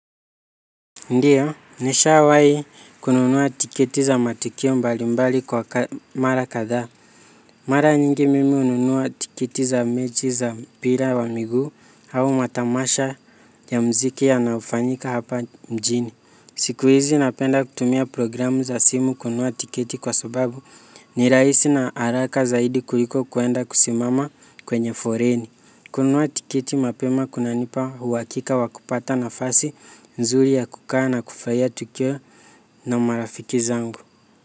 Ndiyo, nishawahi kununua tiketi za matukio mbali mbali kwa mara kadhaa. Mara nyingi mimi hununua tiketi za mechi za mpira wa miguu au matamasha ya muziki ya yanayofanyika hapa mjini. Siku hizi napenda kutumia programu za simu kununua tiketi kwa sababu ni raihisi na haraka zaidi kuliko kwenda kusimama kwenye foleni. Kununua tiketi mapema kunanipa uhakika wa kupata nafasi nzuri ya kukaa na kufarahia tukio na marafiki zangu.